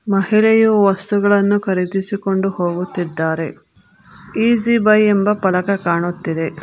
ಮಹಿಳೆಯು ವಸ್ತುಗಳನ್ನು ಖರೀದಿಸಿಕೊಂಡು ಹೋಗುತ್ತಿದ್ದಾರೆ ಈಸಿ ಬೈ ಎಂಬ ಫಲಕ ಕಾಣುತ್ತಿದೆ.